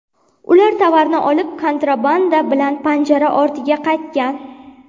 Ular tovarni olib, kontrabanda bilan panjara ortiga qaytgan.